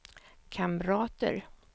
kamrater